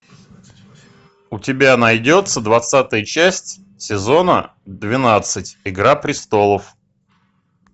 у тебя найдется двадцатая часть сезона двенадцать игра престолов